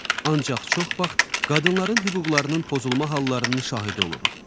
Ancaq çox vaxt qadınların hüquqlarının pozulma hallarının şahidi oluruq.